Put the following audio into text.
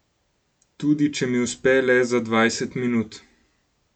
Tudi, če mi uspe le za dvajset minut.